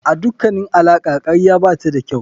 A dukkanin alaƙa karya bata da kyau.